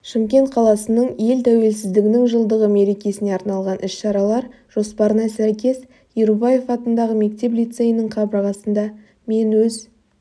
шымкент қаласының ел тәуелсіздігінің жылдығы мерекесіне арналған іс-шаралар жоспарына сәйкес ерубаев атындағы мектеп-лицейінің қабырғасында мен өз